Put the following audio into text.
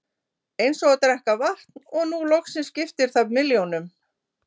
Eins og að drekka vatn og nú loksins skiptir það milljónum.